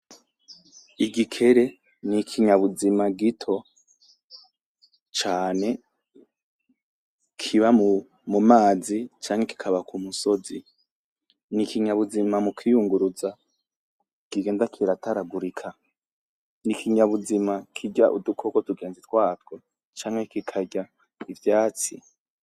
Igikere n'ikinyabuzima gito cane kiba mu mazi canke kikaba ku musozi n'ikinyabuzima mu kwiyunguruza kigenda kirataragurika n'ikinyabuzima kirya uduko tugenzi twako canke kikarya ivyatsi.